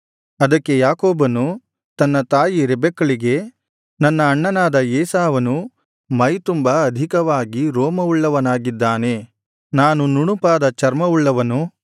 ಅದಕ್ಕೆ ಯಾಕೋಬನು ತನ್ನ ತಾಯಿ ರೆಬೆಕ್ಕಳಿಗೆ ನನ್ನ ಅಣ್ಣನಾದ ಏಸಾವನು ಮೈತುಂಬ ಅಧಿಕವಾಗಿ ರೋಮವುಳ್ಳವನಾಗಿದ್ದಾನೆ ನಾನು ನುಣುಪಾದ ಚರ್ಮವುಳ್ಳವನು